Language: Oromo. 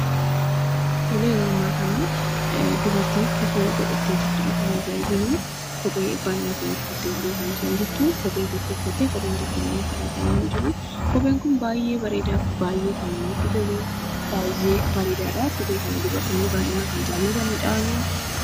Tole, yeroo ammaa kanaa dubartii kofoo godhattee jirtudha kan nuti arginuu kophee banaa ta'e uffateetidha kan isheen jirtuu kophee tokko uffattee koopheen tokkommoo lafadha kan inni jiruu, kopheen kun baayyee bareedaaf baayyee kan namatti toluu, baayyee bareedaadhaa dubartoonni baayyinaan kan jaalatanidhsa.